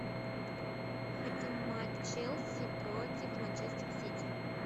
хотим матч челси против манчестер сити